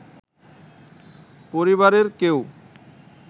পরিবারের কেউ